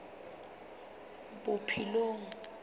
bophelong